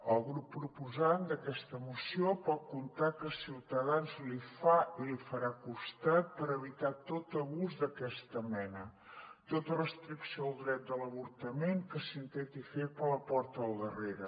el grup proposant d’aquesta moció pot comptar que ciutadans li fa i li farà cos·tat per evitar tot abús d’aquesta mena tota restricció del dret de l’avortament que s’intenti fer per la porta del darrere